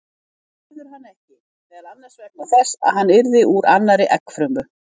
Það verður hann ekki, meðal annars vegna þess að hann yrði úr annarri eggfrumu.